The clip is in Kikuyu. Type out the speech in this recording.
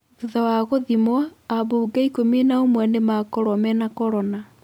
Thutha wa gũthimwo, ambunge ikumi ũmwe nĩ makorũo mena korona.